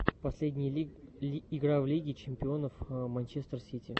последняя игра в лиге чемпионов манчестер сити